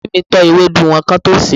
anti mi tọ́ ewédú wọn kán tó sèé.